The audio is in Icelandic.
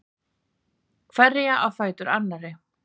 Hverja á fætur annarri.